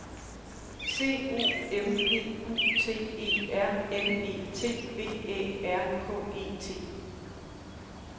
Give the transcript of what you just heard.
C O M P U T E R N E T V Æ R K E T